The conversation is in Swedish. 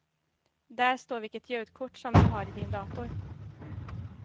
Där står vilket ljudkort som du har i din dator.